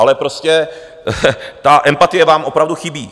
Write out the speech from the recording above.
Ale prostě ta empatie vám opravdu chybí.